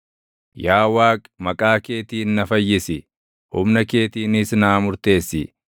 Yaa Waaqi, maqaa keetiin na fayyisi; humna keetiinis naa murteessi.